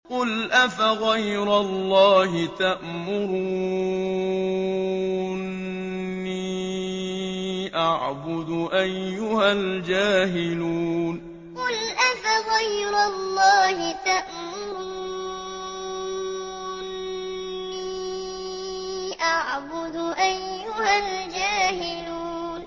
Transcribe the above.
قُلْ أَفَغَيْرَ اللَّهِ تَأْمُرُونِّي أَعْبُدُ أَيُّهَا الْجَاهِلُونَ قُلْ أَفَغَيْرَ اللَّهِ تَأْمُرُونِّي أَعْبُدُ أَيُّهَا الْجَاهِلُونَ